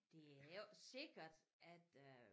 Det er jo ikke sikkert at øh